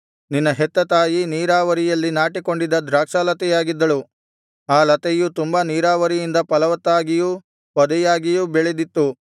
ನಿನ್ನ ಹೆತ್ತ ತಾಯಿ ನೀರಾವರಿಯಲ್ಲಿ ನಾಟಿಕೊಂಡಿದ್ದ ದ್ರಾಕ್ಷಾಲತೆಯಾಗಿದ್ದಳು ಆ ಲತೆಯು ತುಂಬಾ ನೀರಾವರಿಯಿಂದ ಫಲವತ್ತಾಗಿಯೂ ಪೊದೆಯಾಗಿಯೂ ಬೆಳೆದಿತ್ತು